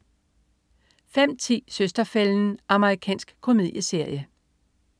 05.10 Søster-fælden. Amerikansk komedieserie